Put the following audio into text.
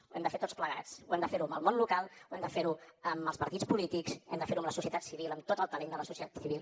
ho hem de fer tots plegats ho hem de fer amb el món local hem de fer ho amb els partits polítics hem de fer ho amb la societat civil amb tot el talent de la societat civil